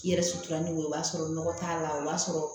I yɛrɛ sutura n'o ye o b'a sɔrɔ nɔgɔ t'a la o b'a sɔrɔ